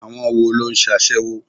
Àwọn wo ló ń sasewo?